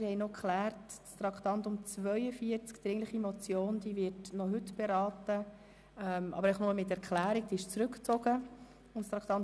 Wir haben noch geklärt, dass das Traktandum 42, die dringliche Motion 1862017, noch heute beraten wird, aber nur mit Abgabe einer Erklärung, da sie zurückgezogen worden ist.